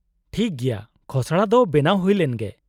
-ᱴᱷᱤᱠ ᱜᱮᱭᱟ , ᱠᱷᱚᱥᱲᱟ ᱫᱚ ᱵᱮᱱᱟᱣ ᱦᱩᱭ ᱞᱮᱱ ᱜᱮ ᱾